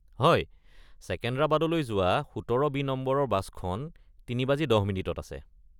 হয়, ছেকেণ্ডৰাবাদলৈ যোৱা ১৭ বি নম্বৰৰ বাছখন ৩:১০ বজাত আছে।